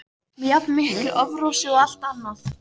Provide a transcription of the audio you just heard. með jafn miklu offorsi og allt annað.